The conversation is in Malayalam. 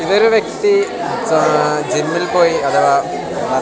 ഇതൊരു വ്യക്തി ആ ജിമ്മിൽ പോയി അഥവാ വ--